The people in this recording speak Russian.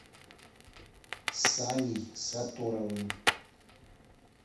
саней сатторовым